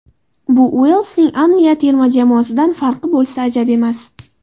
Bu Uelsning Anliya terma jamoasidan farqi bo‘lsa ajab emas.